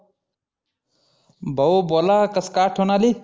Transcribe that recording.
भाऊ बोला कसं काय आठवन आली?